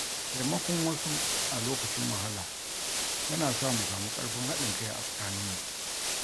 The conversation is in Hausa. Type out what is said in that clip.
Taimakon wasu a lokacin wahala yana sa mu samu ƙarfin haɗin kai a tsakaninmu.